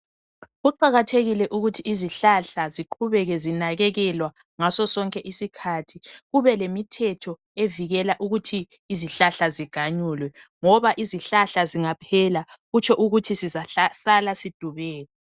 Kuqakathekile ukuthi izihlahla ziqhubeke zinakekelwa njalo kubelemithetho evikela izihlahla ukuba ziganyulwe ngoba izihlahla zingaphela okutsho sizasala sidubeka.